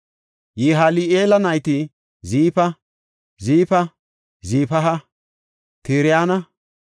Yihali7eela nayti Ziifa, Zifaha, Tirayanne Asar7eela.